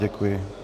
Děkuji.